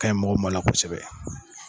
Ka ɲi mɔgɔ mɔn na kosɛbɛ.